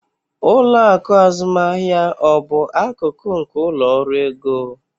Ụlọ akụ azụmaahịa ọ bụ akụkụ nke ụlọ ọrụ ego?